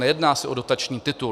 Nejedná se o dotační titul.